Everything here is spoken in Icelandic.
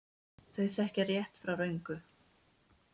Þau þekkja rétt frá röngu.